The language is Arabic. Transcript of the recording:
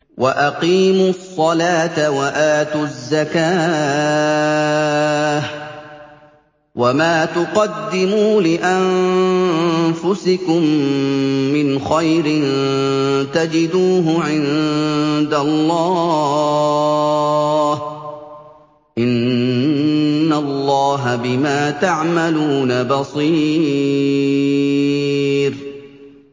وَأَقِيمُوا الصَّلَاةَ وَآتُوا الزَّكَاةَ ۚ وَمَا تُقَدِّمُوا لِأَنفُسِكُم مِّنْ خَيْرٍ تَجِدُوهُ عِندَ اللَّهِ ۗ إِنَّ اللَّهَ بِمَا تَعْمَلُونَ بَصِيرٌ